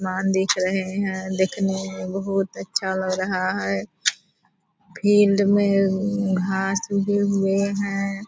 आसमान दिख रहे हैं दिखने में बहुत अच्छा लग रहा है। फील्ड में उम घांस उगे हुए हैं।